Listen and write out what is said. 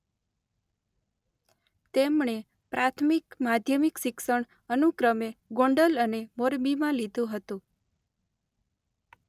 તેમણે પ્રાથમિક-માધ્યમિક શિક્ષણ અનુક્રમે ગોંડલ અને મોરબીમાં લીધું હતું.